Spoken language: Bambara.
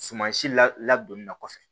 Suman si la ladonni na kɔfɛ